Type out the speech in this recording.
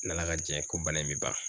N'Ala ka jɛn ko bana in bɛ ban